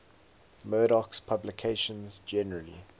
murdoch's publications generally